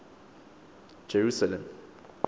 jerusalem